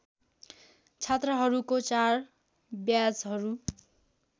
छात्रहरूको चार ब्याचहरू